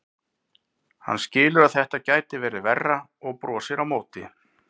Hann skilur að þetta gæti verið verra og brosir á móti.